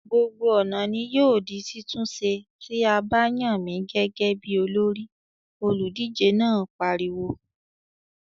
"Gbogbo ọ̀nà ni yóò di títún ṣe, tí a bá yàn mí gẹ́gẹ́ bí olórí!" Olùdíje náà pariwo.